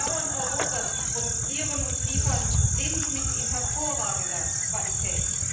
Die Bauern Europas produzieren und liefern Lebensmittel in hervorragender Qualität.